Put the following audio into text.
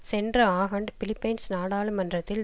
சென்ற ஆண்டு பிலிப்பைன்ஸ் நாடாளுமன்றத்தில்